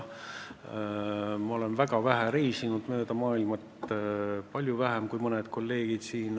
Ma olen väga vähe mööda maailma reisinud, palju vähem kui mõned kolleegid siin.